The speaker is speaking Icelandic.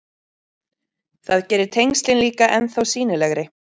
Það gerir tengslin líka ennþá sýnilegri.